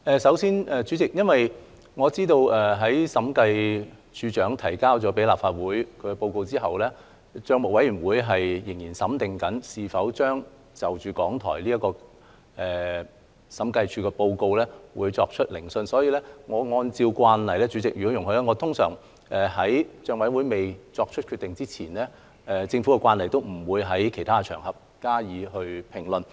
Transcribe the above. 首先，我知道審計署署長向立法會提交審計署署長報告後，帳委會仍在研究是否就審計署署長報告中港台這部分作出聆訊，所以若主席容許，我會按照政府慣例，在帳委會尚未作出決定前，不在其他場合加以評論。